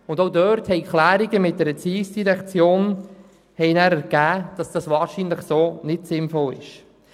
Auch dort ergaben die Abklärungen mit der Erziehungsdirektion, dass das wahrscheinlich so nicht sinnvoll ist.